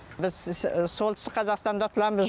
біз солтүстік қазақстанда тұрамыз